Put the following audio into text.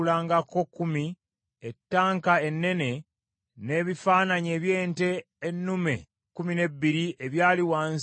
ettanka ennene n’ebifaananyi eby’ente ennume ekkumi n’ebbiri ebyali wansi w’ettanka ennene;